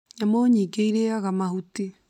Nyamũ nyingĩ irĩaga mahuti.